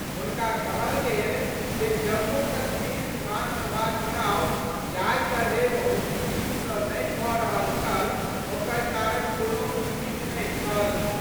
हुनका कहल गेल जे जम्मू-कश्मीर विधानसभा चुनाव जाहि तरहे बहुत दिन स नहि भ रहल छल ओकर कारण कोनो उम्मीद नहि छल।